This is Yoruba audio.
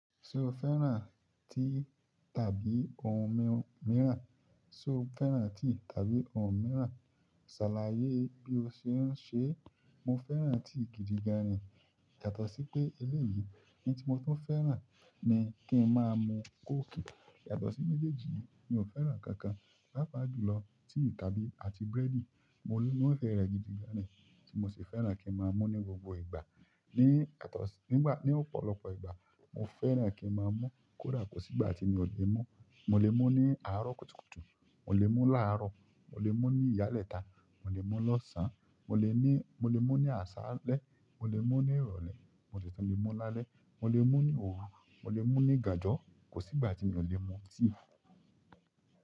Ṣé o fẹ́ràn tí tàbí ohun míìràn? Ṣé o fẹ́ràn tí tàbí ohun míràn? Ṣàlàyé bí o ṣe ń ṣe. Mo fẹ́ràn tea gidi gan ni, yàtọ̀ sí pé eléyìí ni tí mo tún fẹ́ràn ni kí n máa mu kóòkì. Yàtọ̀ sí méjèèjì yìí mi ò fẹ́ràn ikankan. Pápá jùlọ tea tàbí àti búrẹ́dì, mo níwọ́n fẹ́ rẹ̀ gidi gan ni tí mo sì fẹ́ràn kí n má a mú ní gbogbo ìgbà. Ni yàtọ̀ sí, nígbà, ní ọ̀pọ̀lọpọ̀ ìgbà mo fẹ́ràn kí n máa mú kódà kò sí ìgbà tí mi ò ki n mú. Mo lè mú ní àárọ̀ kùtùkùtù, mo lè mú láàárọ̀, mo lè mú ní ìyálẹ́ta, mo lè mú lọ́sàn án, mo lè ní, mo lè mú ní àsálẹ́, mo lè mú ní ìrọ̀lẹ́, mo lè mú lálẹ́, mo lè mú ní òru, mo lè mú ní ìganjọ, kò sí ìgbà tí mi ò lè mú tíì.